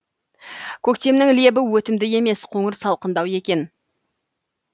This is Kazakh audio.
көктемнің лебі өтімді емес қоңыр салқындау екен